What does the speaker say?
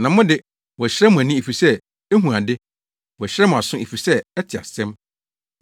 Na mo de, wɔahyira mo ani efisɛ ehu ade; wɔahyira mo aso efisɛ ɛte asɛm.